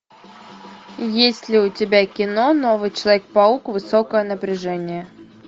есть ли у тебя кино новый человек паук высокое напряжение